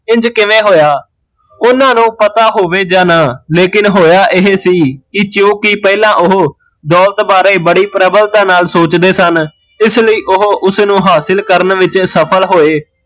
ਇੰਜ ਕਿਵੇ ਹੋਇਆ ਉਹਨਾਂ ਨੂ ਪਤਾ ਹੋਵੇ ਜਾਂ ਨਾ ਲੇਕਿਨ ਹੋਇਆ ਇਹ ਸੀ ਕੀ ਚੋ ਕਿ ਪਹਿਲਾਂ ਓਹ ਦੋਲਤ ਬਾਰੇ ਬੜੀ ਪ੍ਰਬੱਲਤਾ ਨਾਲ਼ ਸੋਚਦੇ ਸਨ ਇਸ ਲਈ ਓਹ ਉਸਨੂ ਹਾਸਿਲ ਕਰਨ ਵਿੱਚ ਸਫਲ ਹੋਏ